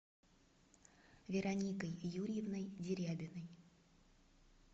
вероникой юрьевной дерябиной